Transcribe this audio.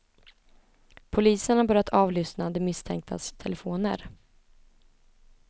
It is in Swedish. Polisen har börjat avlyssna de misstänktas telefoner.